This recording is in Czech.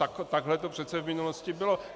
Takhle to přece v minulosti bylo.